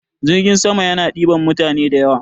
Jirgin sama yana ɗiban mutane da yawa.